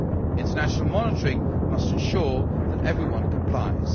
International monitoring must ensure that everyone complies.